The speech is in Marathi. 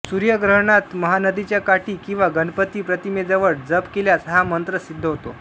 सूर्यग्रहणांत महानदीच्या काठी किंवा गणपति प्रतिमेजवळ जप केल्यास हा मंत्र सिद्ध होतो